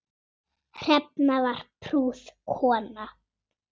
Hrefna var prúð kona.